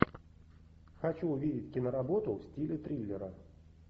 хочу увидеть киноработу в стиле триллера